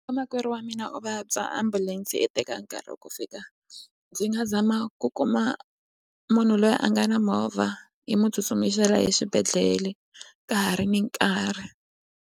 Vamakwerhu wa mina u vabya ambulense yi teka nkarhi wa ku fika ndzi nga zama ku kuma munhu loyi a nga na movha yi mu tsutsumisela exibedhlele ka ha ri ni nkarhi.